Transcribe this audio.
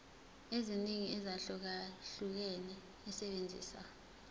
eziningi ezahlukahlukene esebenzisa